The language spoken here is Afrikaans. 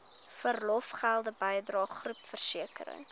verlofgelde bydrae groepversekering